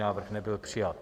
Návrh nebyl přijat.